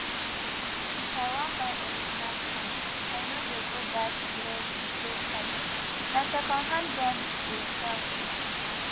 if i wan buy original fan i no dey go that their chike side na secondhand dem dey sell